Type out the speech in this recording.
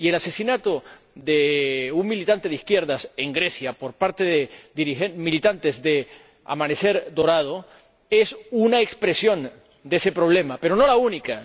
Y el asesinato de un militante de izquierdas en Grecia por parte de militantes de Amanecer Dorado es una expresión de ese problema, pero no la única.